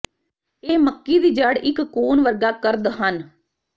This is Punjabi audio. ਇਹ ਮੱਕੀ ਦੀ ਜੜ੍ਹ ਇੱਕ ਕੋਨ ਵਰਗਾ ਕਰਦ ਹਨ